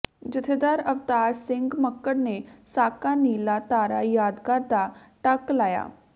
ਜਥੇਦਾਰ ਅਵਤਾਰ ਸਿੰਘ ਮੱਕੜ ਨੇ ਸਾਕਾ ਨੀਲਾ ਤਾਰਾ ਯਾਦਗਾਰ ਦਾ ਟੱਕ ਲਾਇਆ